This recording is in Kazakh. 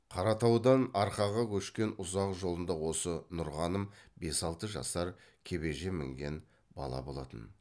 қаратаудан арқаға көшкен ұзақ жолында осы нұрғаным бес алты жасар кебежеге мінген бала болатын